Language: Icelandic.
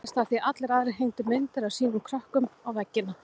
Barasta af því að allir aðrir hengdu myndir af sínum krökkum á veggina.